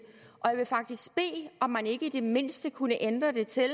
jeg vil faktisk bede om man ikke i det mindste kunne ændre det til at